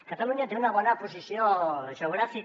catalunya té una bona posició geogràfica